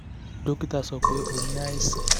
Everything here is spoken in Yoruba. dókítà sọ pé ó ní àìsàn